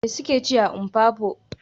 Me suke ci a Mpopo?